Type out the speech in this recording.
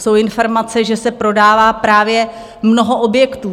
Jsou informace, že se prodává právě mnoho objektů.